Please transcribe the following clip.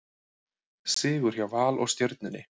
Sigur hjá Val og Stjörnunni